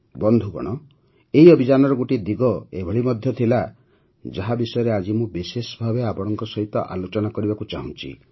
ବନ୍ଧୁଗଣ ଏହି ଅଭିଯାନର ଗୋଟିଏ ଦିଗ ଏଭଳି ମଧ୍ୟ ଥିଲା ଯାହା ବିଷୟରେ ଆଜି ମୁଁ ବିଶେଷ ଭାବେ ଆପଣଙ୍କ ସହିତ ଆଲୋଚନା କରିବାକୁ ଚାହୁଁଛି